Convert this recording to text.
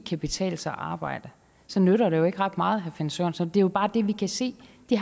kan betale sig at arbejde så nytter det jo ikke ret meget herre finn sørensen det er bare det vi kan se det